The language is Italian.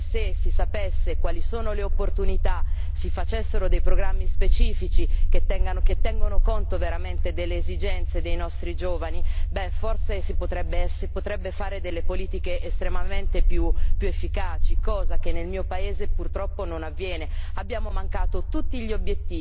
Questo è ancora più grave, perché se si sapesse quali sono le opportunità, se si facessero dei programmi specifici che tengano conto veramente delle esigenze dei nostri giovani, beh, forse si potrebbero fare delle politiche estremamente più efficaci, cosa che nel mio paese, purtroppo, non avviene.